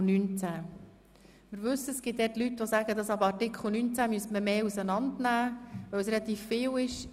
Wir wissen, dass es Leute gibt, die finden, dass man die Anträge ab Artikel 19 mehr auseinander nehmen müsste, weil es relativ viel ist.